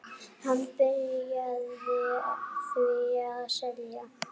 Hann byrjaði því að selja.